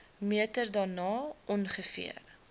meter daarna ongeveer